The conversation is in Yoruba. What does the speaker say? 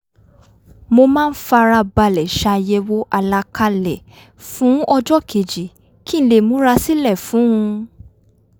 mo máa ń fara balẹ̀ ṣàyẹ̀wò àlàkalẹ̀ fun ọjọ́ keji kí n lè múra sílẹ̀ fún un